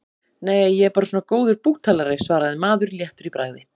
Nei, ég er bara svona góður búktalari, svaraði maður léttur í bragði.